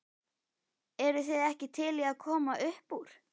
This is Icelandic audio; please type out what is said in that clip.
Eruð þið ekki til í að koma uppúr?